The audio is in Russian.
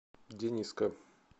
дениска